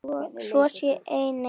Svo sé einnig nú.